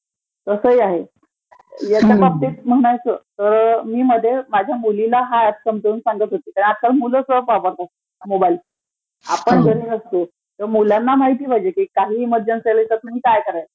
तस ही आहे. ह्याच्याबाबतीत म्हणायचं तर मी मध्ये माझ्या मुलीला हा ऍप समजावून सांगत होते तर आता मूल Sound not clear आपण घरी नसलो तर मुलांना माहिती पाहिजे की काहिही इमर्जन्सी आली तर काय करायचं.